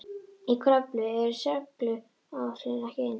Í Kröflu eru seguláhrifin ekki eins skýr.